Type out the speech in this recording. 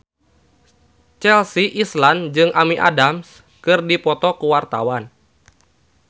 Chelsea Islan jeung Amy Adams keur dipoto ku wartawan